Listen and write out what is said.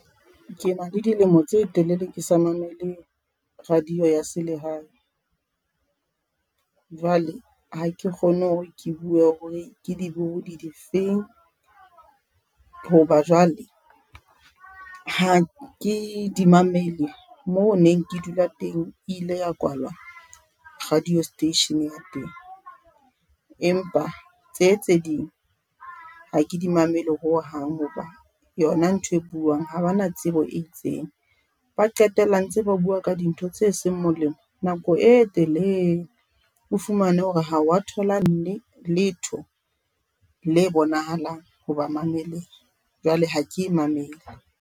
Ke na le dilemo tse telele, ke sa mamele radio ya selehae, jwale ha ke kgone hore ke bue hore ke dibohodi difeng hoba jwale ha ke di mamele. Moo neng ke dula teng ile ya kwalwa radio station ya teng, empa tse tse ding ha ke di mamele ho hang. Hoba yona ntho e buang ha bana tsebo e itseng ba qetella ntse ba bua ka dintho tse seng molemo nako e telele. O fumane hore ha wa thola letho le bonahalang ho ba mameleng jwale ha ke e mamele.